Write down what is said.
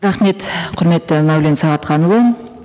рахмет құрметті мәулен сағатханұлы